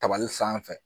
Tabali sanfɛ